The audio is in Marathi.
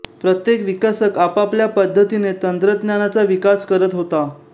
प्रत्येक विकसक आपापल्या पद्धतीने तंत्रज्ञानाचा विकास करत होता